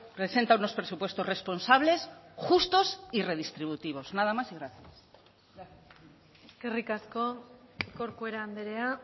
presenta unos presupuestos responsables justos y redistributivos nada más y gracias eskerrik asko corcuera andrea